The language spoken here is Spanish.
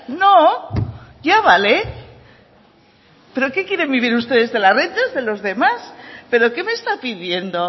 no ya vale pero que quieren vivir ustedes de las rentas de los demás pero que me está pidiendo